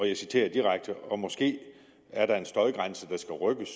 jeg citerer direkte og måske er der en støjgrænse der skal rykkes